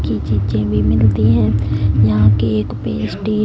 की चीजें भी मिलती है यहां की पेस्टी --